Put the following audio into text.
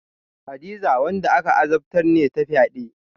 Hadiza wanda aka azabtar ne ta fyade.